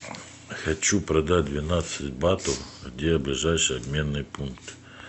хочу продать двенадцать батов где ближайший обменный пункт